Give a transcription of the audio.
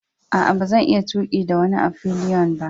Aa, ba zan iya tuki da wani a'fillion ba.